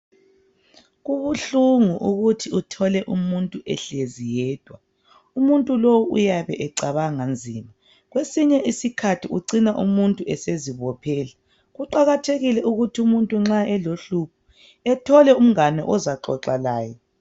Kubunhlungu ukuthi uthole umuntu ehlezi yedwa, umuntu lowu uyabe ecabanga nzima , kwesinye isikhathi umuntu lo ucina ezibophela , kuqakathekile ukuthi umuntu nxa elohlupho ethole umuntu ozaxoxa laye.